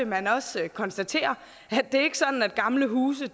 man også konstatere at det ikke er sådan at gamle huse